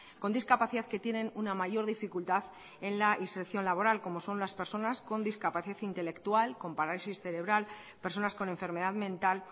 con discapacidad que tiene una mayor dificultad en la inserción laboral como son las personas con discapacidad intelectual con parálisis cerebral personas con enfermedad mental